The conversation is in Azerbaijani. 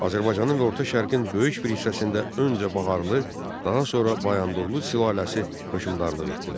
Azərbaycanın və Orta Şərqin böyük bir hissəsində öncə Baharlı, daha sonra Bayandurlu sülaləsi hökmdarlıq etdilər.